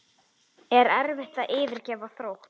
Er erfitt að yfirgefa Þrótt?